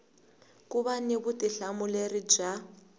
ku va ni vutihlamuleri bya